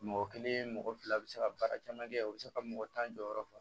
Mɔgɔ kelen mɔgɔ fila u be se ka baara caman kɛ u be se ka mɔgɔ tan jɔ yɔrɔ fa